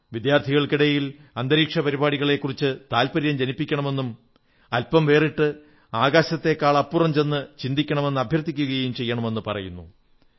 വിദ്യാർഥികൾക്കിടയിൽ ബഹിരാകാശ പരിപാടികളെക്കുറിച്ച് താത്പര്യം ജനിപ്പിക്കണമെന്നും അല്പം വേറിട്ട് ആകാശത്തെക്കാളുമപ്പുറം ചെന്ന് ചിന്തിക്കണമെന്ന് അഭ്യർഥിക്കയും വേണമെന്ന് പറയുന്നു